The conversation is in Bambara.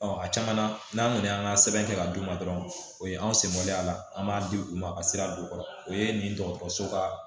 a caman na n'an kɔni y'an ka sɛbɛn kɛ ka d'u ma dɔrɔn o ye anw sɛmɛn a la an b'a di u ma a ka sira don u kɔrɔ o ye nin dɔgɔtɔrɔso ka